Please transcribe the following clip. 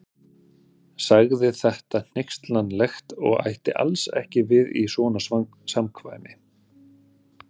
Sagði þetta hneykslanlegt og ætti alls ekki við í svona samkvæmi.